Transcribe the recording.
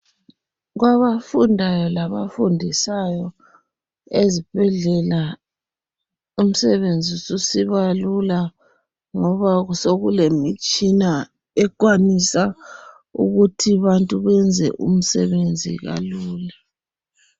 Kwabafundayo labafundisayo imisebenz sisiba lula ezibhedlela ngoba sokulemitshina ekwanisa ukuthi abantu benze umsebenzi kalula